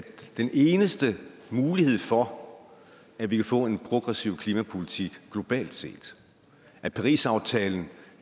den eneste mulighed for at vi kan få en progressiv klimapolitik globalt set at parisaftalen